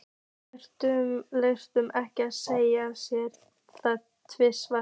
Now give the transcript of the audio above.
Drengirnir létu ekki segja sér það tvisvar.